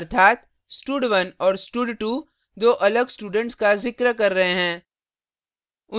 अर्थात stud1 और stud2 दो अलग students का जिक्र कर रहे हैं